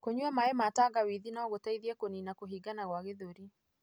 Kũnyua maĩ ma tangawithi nĩ gũteithagia kũnina kũhingana gwa gĩthũri.